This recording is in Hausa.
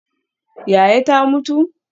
Yaya ta mutu?